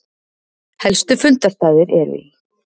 Helstu fundarstaðir eru í